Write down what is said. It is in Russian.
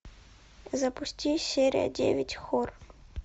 запусти серия девять хор